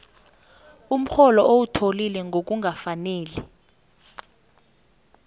umrholo owuthole ngokungakafaneli